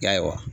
Ya